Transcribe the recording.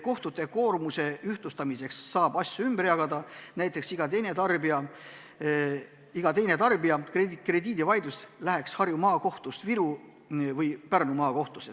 Kohtute koormuse ühtlustamiseks saab asju ümber jagada, näiteks nii, et iga teine tarbija krediidivaidlus läheks Harju Maakohtust Viru või Pärnu maakohtusse.